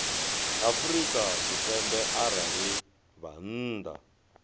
afrika tshipembe arali vha nnḓa